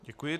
Děkuji.